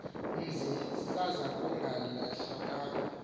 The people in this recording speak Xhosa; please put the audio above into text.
mzi saza kugaleleka